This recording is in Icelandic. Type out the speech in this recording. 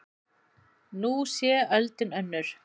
Nú sé öldin önnur.